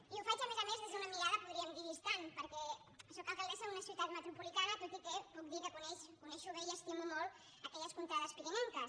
i ho faig a més a més des d’una mirada podríem dir distant perquè sóc alcaldessa d’una ciutat metropolitana tot i que puc dir que conec bé i estimo molt aquelles contrades pirinenques